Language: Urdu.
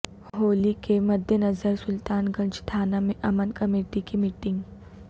ہولی کے مدنظرسلطان گنج تھانہ میں امن کمیٹی کی میٹنگ